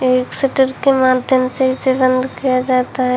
एक शटर के माध्यम से इसे बंद किया जाता है।